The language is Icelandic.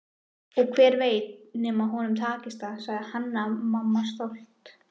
Og hver veit nema honum takist það, sagði Hanna-Mamma stolt.